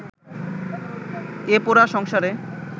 এ পোড়া সংসারে